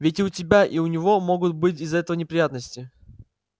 ведь и у тебя и у него могут быть из-за этого неприятности